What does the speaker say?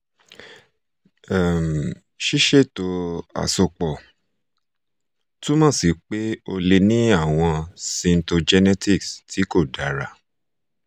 um siseto asopo tumọ si pe o le ni awọn cytogenetics ti ko dara